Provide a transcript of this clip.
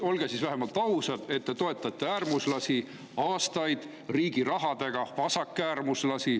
Olge siis vähemalt ausad, et te olete äärmuslasi, vasakäärmuslasi aastaid riigi rahaga toetanud.